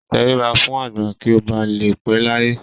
Tẹríba fún àgbà kí ó ba lè pẹ́ láyé.